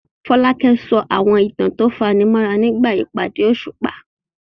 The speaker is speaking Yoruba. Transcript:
Folake sọ àwọn ìtàn tó fani mọ́ra nígbà ìpàdé òṣùpá.